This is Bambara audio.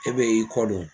E bɛ y'i kɔ don